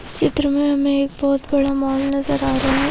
इस चित्र मे हमे एक बोहोत बड़ा मोल नजर आ रहा है।